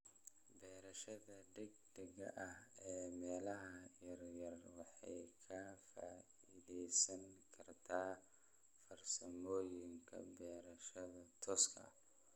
Beerashada degdega ah ee meelaha yaryar waxay ka faa'iideysan kartaa farsamooyinka beerashada tooska ah.